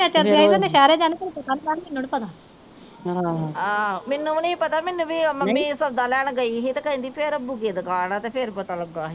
ਆਹੋ ਮੈਨੂੰ ਵੀ ਨਹੀਂ ਪਤਾ ਮੈਨੂੰ ਵੀ ਉਹ ਮੰਮੀ ਸੌਦਾ ਲੈਣ ਗਈ ਹੀ ਤੇ ਕਹਿੰਦੀ ਫਿਰ ਰੱਬੁ ਕੀ ਦੁਕਾਨ ਆ ਤੇ ਫਿਰ ਪਤਾ ਲੱਗਾ ਹੀ।